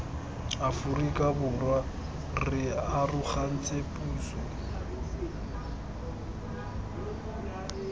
aforika borwa re arogantse puso